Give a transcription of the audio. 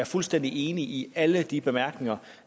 fuldstændig enig i alle de bemærkninger